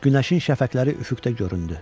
Günəşin şəfəqləri üfüqdə göründü.